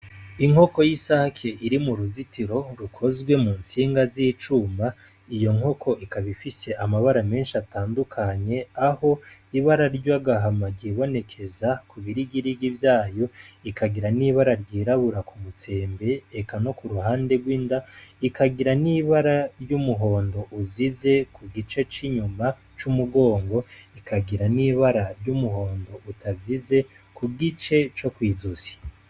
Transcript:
Inkoko y'isake iri m'uruzitiro rukozwe mu ntsinga z'icuma, iyo nkoko ikaba ifise amabara menshi atandukanye, aho ibara ry'agahama ryibonekeza ku birigirigi vyayo, ikagira n'ibara ryirabura ku mutsembe eka no ku ruhande rw'inda, ikagira n'ibara ry'umuhundo uzize ku gice c'inyuma c'umugongo, ikagira n'ibara ry'umuhondo utazize ku gice co kw'izosi.